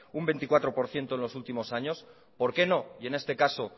un veinticuatro por ciento en los últimos años por qué no y en este caso